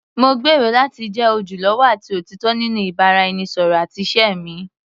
Mo gbèrò láti jẹ́ ojúlówó àti òtítọ́ nínú ìbáraẹnisọ̀rọ̀ àti ìṣe mi.